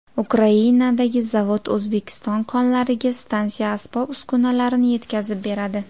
Ukrainadagi zavod O‘zbekiston konlariga stansiya asbob-uskunalarini yetkazib beradi.